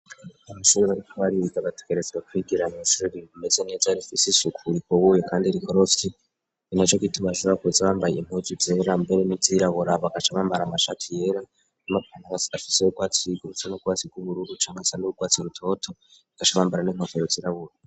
Abasegebariko bari ibigabatigarezwa kwigirana ishujugiriru meze niyajarizwo sishukura ibobuye, kandi rikorosye ni na co kitubashara kuza abambaye muzu vyera mbere n'iziraboraba agaca bambara amashatu yera namapana ashiseyourwatsi yigurutse no gwatsi rw'ubururucanasan' ubugwatsi rutoto gacabambara nemkokayo zirabura.